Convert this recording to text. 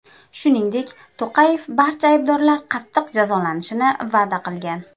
Shuningdek, To‘qayev barcha aybdorlar qattiq jazolanishini va’da qilgan.